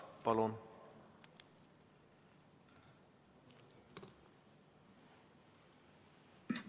Palun!